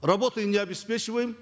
работой не обеспечиваем